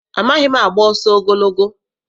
Amaghị m agba ọsọ ogologo.